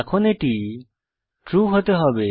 এখন এটি ট্রু হতে হবে